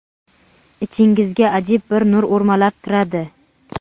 Ichingizga ajib bir nur o‘rmalab kiradi.